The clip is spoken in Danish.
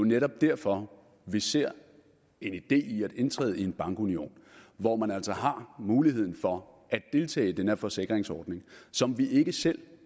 netop derfor at vi ser en idé i at indtræde i en bankunion hvor man altså har muligheden for at deltage i den her forsikringsordning som vi ikke selv